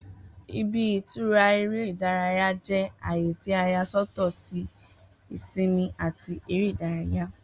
Ibi-itura ere ìdárayá jẹ aaye ti a ya sọtọ si ìsinmi ati eré ìdárayá.